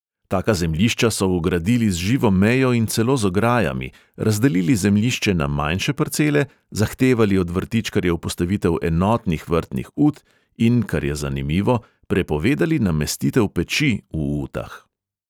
Taka zemljišča so ogradili z živo mejo in celo z ograjami, razdelili zemljišče na manjše parcele, zahtevali od vrtičkarjev postavitev enotnih vrtnih ut, in kar je zanimivo, prepovedali namestitev peči v utah.